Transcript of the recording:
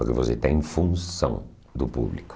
Porque você está em função do público.